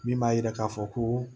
Min b'a yira k'a fɔ ko